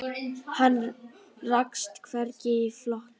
Hann rakst hvergi í flokki.